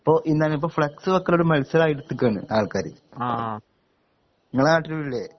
ഇപ്പൊ എന്താണ് ഇപ്പൊ ഫ്ളക്സ് വെക്കലൊര് മത്സരായിട്ത്ത്ക്കാണ് ആൾക്കാര് ഇങ്ങളെ നാട്ടിലുല്ലെ